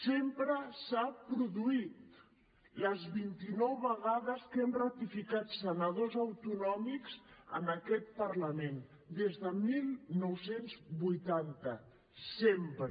sempre s’ha produït les vint i nou vegades que hem ratificat senadors autonòmics en aquest parlament des de dinou vuitanta sempre